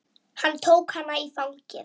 Hann tók hana í fangið.